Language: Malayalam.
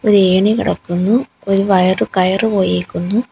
ഏണി കെടക്കുന്നു ഒര് വയറ് കയറ് പോയേക്കുന്നു.